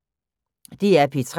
DR P3